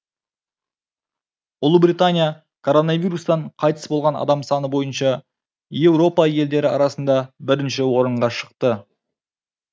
ұлыбритания коронавирустан қайтыс болған адам саны бойынша еуропа елдері арасында бірінші орынға шықты